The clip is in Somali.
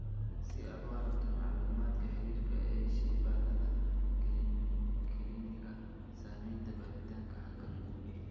Si aad u aragto macluumaadka xiriirka ee shaybaarada kiliinikada, samaynta baaritaanka halkan guji.